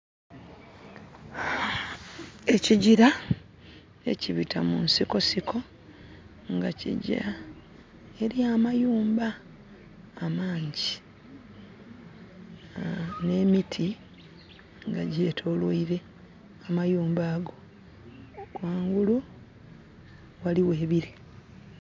Ekigira ekibita mu nsiko siko, nga kigya eri amayumba amangi. N'emiti nga gyetoloile amayumba ago. Ghangulu, ghaligho ebile.